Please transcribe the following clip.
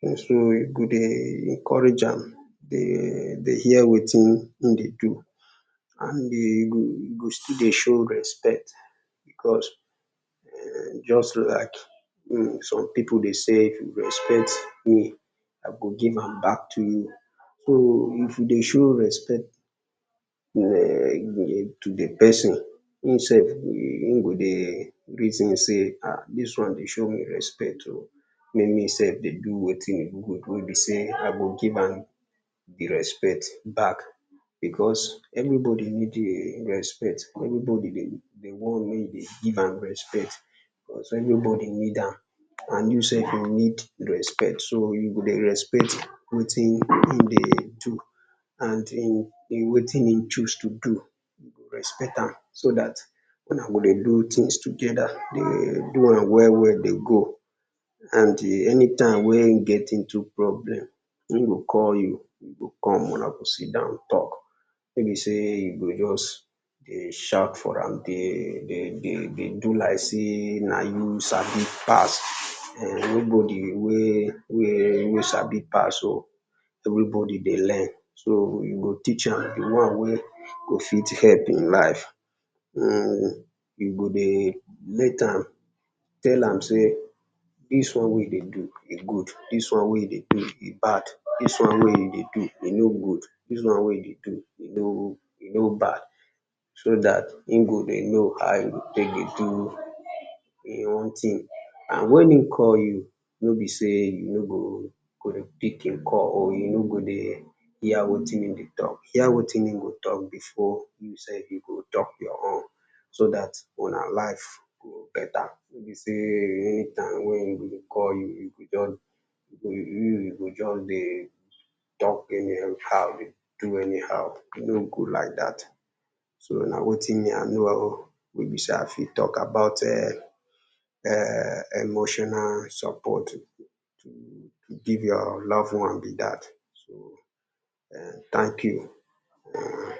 so you go dey encourage am, dey hear wetin im dey do, and e go still dey show respect, because just like some people dey sey, if you respect me I go give am back to you, so if you dey show respect to di person, im sef go dey, im ge dey reason sey ah, dis one dey show me respect oh, make me sef dey do wetin e good wen be sey I go give am di respect back, because anybody wey dey respect any dey wan make you dey give am respect, because everybody need am, you sef you need respect so you go dey respect wetin in dey do, and wetin in choose to do, respect am so da tuna go dey do things together dey do am well well dey go, and anytime wey e get into problem, in go call you, you go come una go sit down talk, no be sey you just dey shout for am dey dey dey dey do like sey na you sabi pass, no body wey wey sabi pass oh, everybody dey learn so you go teach am, di one wey go fit help in life [urn]you go dey make am, tell am sey dis one wey you dey do, e good dis one wey you dey do, e bad dis one wey you dey do e no good, dis one wey you dey do e no bad, so dat im go dey know how e go take dey do in own thing and when in call you, no be sey you no go dey pick im call, or you no godey hear wetin im dey talk, hear wetin in go talk before you sef, you go talk your own so da tuna life go better, no be sey anytime wey in call you go just, you go just dey talk anyhow dey, dey do anyhow, e no good like dat. So na wetin me I know oh, wey be sey I fit talk about [urn] emotional support oh, to give your love one be dat so, [urn] thank you [urn].